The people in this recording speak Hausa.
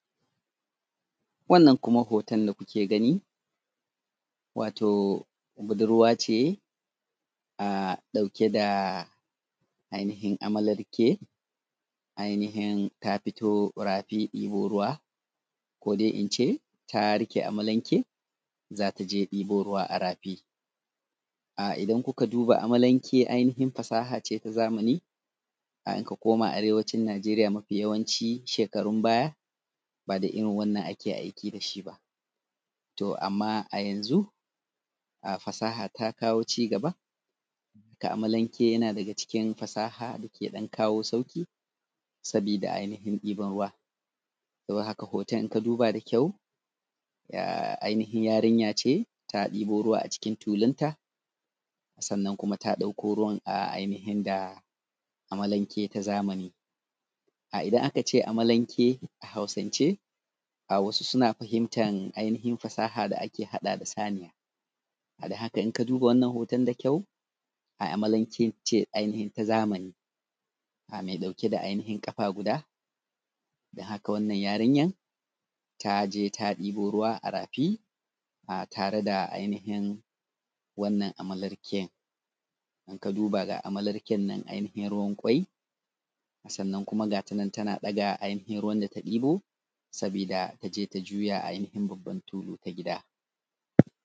Wannan kuma hoton da kuke gani, wato budurwa ce a ɗauke da ainihin amalanke ainihin ta fito rafi ɗibo ruwa, kode ince ta reƙe amalenke zata je debo ruwa a rafi. um idan kuka duba amalanke ainihin fasaha ce ta zamani, idan ka koma Arewacin Najeriya, mafi yawanci shekarun baya, ba da irin wannan ake aiki da shi ba. To, amma a yanzu fasaha ta kawo ci gaba. Amalanke yana daga cikin fasaha da ke ɗan kawo sauƙi. Sabida ainihin ɗiban ruwa .Don haka hoton in ka duba da ƙyau um ainihin yarinya ce ta ɗebo ruwa a cikin tulunta, sannan kuma ta dauko ruwan um ainihi da amalanke ta zamani .um Idan aka ce amalanke a Hausance um wasu suna fahimta ainihin fasaha da ake haɗa da saniya. Don haka in ka duba wannan hoton da ƙyau um amalanke ce ainihin ta zamani um mai dauke da ainihin ƙafa guda, don haka wannan yarinyar ta je ta ɗebo ruwa a rafi um tare da ainihin wannan amalanke. In ka duba ga amalanke nan ainihin ruwan ƙwai sannan kuma ga tanan daga ainihin ruwan da ta ɗebo sannan ta je ta juya a ainihin babban tulu a gida.